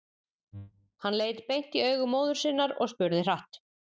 Hann leit beint í augu móður sinnar og spurði hratt: